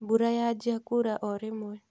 Mbura yanjia kura orĩmwe